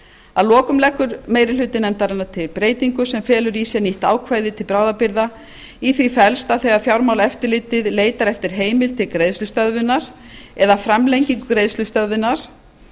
að lokum leggur meiri hluti nefndarinnar til breytingu sem felur í sér nýtt ákvæði til bráðabirgða í því felst að þegar fjármálaeftirlitið leitar eftir heimild til greiðslustöðvunar eða framlengingu greiðslustöðvunar